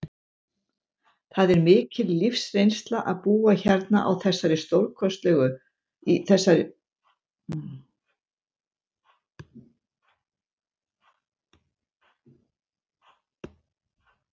Það er mikil lífsreynsla að búa hérna í þessari stórkostlegu höll, innan um öll listaverkin.